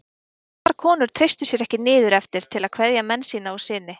Sumar konur treystu sér ekki niður eftir til að kveðja menn sína og syni.